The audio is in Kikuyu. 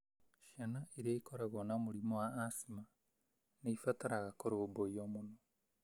Ciana iria ikoragwo na mũrimũ wa asima nĩ ibataraga kũrũmbũiyo mũno.